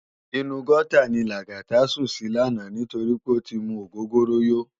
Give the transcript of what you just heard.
Inú gòtá ni Lagata sún si làná nitóri pé ó ti mú ógógóró yó